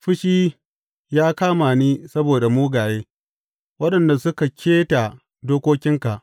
Fushi ya kama ni saboda mugaye, waɗanda suka keta dokokinka.